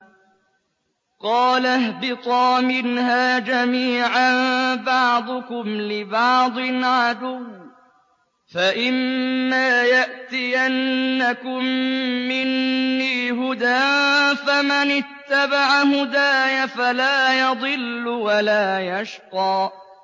قَالَ اهْبِطَا مِنْهَا جَمِيعًا ۖ بَعْضُكُمْ لِبَعْضٍ عَدُوٌّ ۖ فَإِمَّا يَأْتِيَنَّكُم مِّنِّي هُدًى فَمَنِ اتَّبَعَ هُدَايَ فَلَا يَضِلُّ وَلَا يَشْقَىٰ